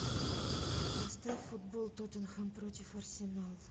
поставь футбол тоттенхэм против арсенала